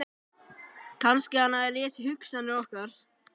Kannski að hann hafi lesið hugsanir okkar.